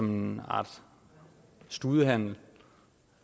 en art studehandel